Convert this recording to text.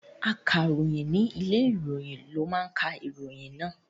Akàròyìn ní ilé ìròyìn ló máa ka ìròyìn náà.